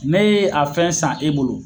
Ne ye a fɛn san e bolo